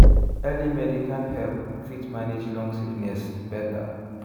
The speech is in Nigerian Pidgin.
early medical help fit manage long sickness better.